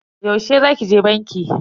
Yaushe za ki je banki?